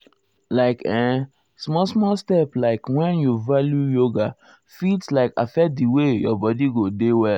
like[um] um small small steps like wen you value um yoga fit like affect di way your body go dey well.